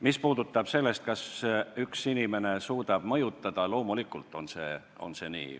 Mis puudutab seda, kas üks inimene suudab mõjutada, siis loomulikult on see nii.